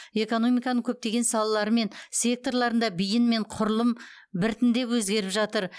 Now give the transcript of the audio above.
экономиканың көптеген салалары мен секторларында бейін мен құрылым біртіндеп өзгеріп жатыр